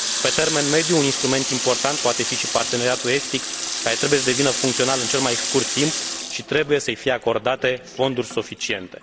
Pe termen mediu, un instrument important poate fi și parteneriatul estic, care trebuie să devină funcțional în cel mai scurt timp și trebuie să i fie acordate fonduri suficiente.